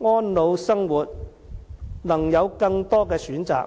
安老生活能有更多的選擇。